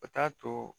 O t'a to